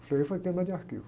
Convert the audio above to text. O foi queima de arquivo.